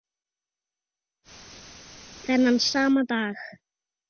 Þennan sama dag